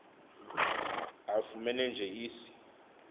afumene nje isi